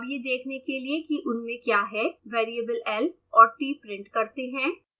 अब यह देखने के लिए कि उनमें क्या है वेरिएबल l और t प्रिंट करते हैं